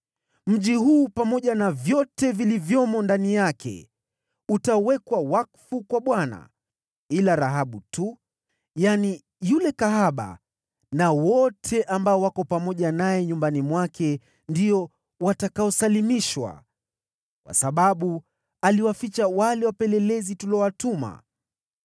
Mji huu pamoja na vyote vilivyomo ndani yake utawekwa wakfu kwa Bwana . Ila Rahabu tu, yule kahaba na wote ambao wako pamoja naye nyumbani mwake ndio watakaosalimishwa, kwa sababu aliwaficha wale wapelelezi tuliowatuma.